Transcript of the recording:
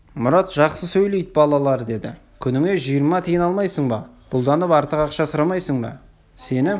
мұрат жақсы сөйлейді балалар деді күніңе жиырма тиын алмайсың ба бұлданып артық ақша сұрамайсың ба сені